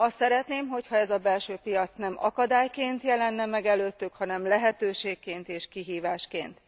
Azt szeretném, ha ez a belső piac nem akadályként jelenne meg előttük, hanem lehetőségként és kihívásként.